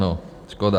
No, škoda.